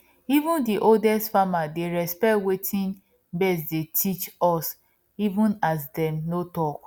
even dey oldest farmedey respect watin birds dey teach us even as dem no talk